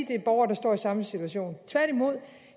det er borgere der står i samme situation tværtimod